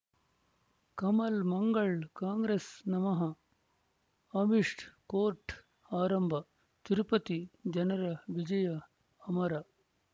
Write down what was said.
Kamal Mangal Congress ನಮಃ Amish court ಆರಂಭ ತಿರುಪತಿ ಜನರ ವಿಜಯ ಅಮರ್